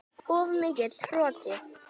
Of mikill hroki.